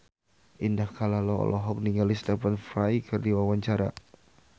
Indah Kalalo olohok ningali Stephen Fry keur diwawancara